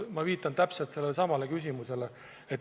Ma viitan täpselt sellelesamale küsimusele.